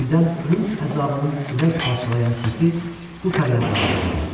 Birdən ölüm əzabının ürək parçalayan səsi bu fəryadları boğdu.